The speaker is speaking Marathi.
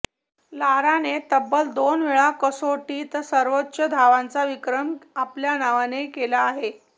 लाराने तब्बल दोन वेळा कसोटीत सर्वोच्च धावांचा विक्रम आपल्या नावे केला आहे